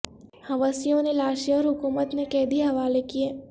حوثیوں نے لاشیں اور حکومت نے قیدی حوالے کئے